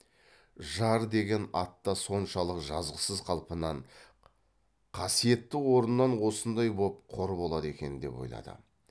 жар деген ат та соншалық жазықсыз қалпынан хасиетті орнынан осындай боп қор болады екен деп ойлады